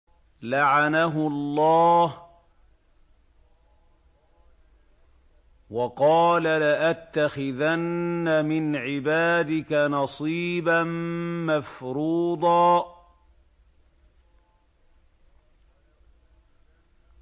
لَّعَنَهُ اللَّهُ ۘ وَقَالَ لَأَتَّخِذَنَّ مِنْ عِبَادِكَ نَصِيبًا مَّفْرُوضًا